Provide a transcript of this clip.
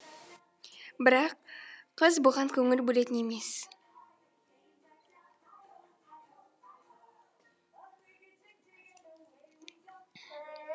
бірақ қыз бұған көңіл бөлетін емес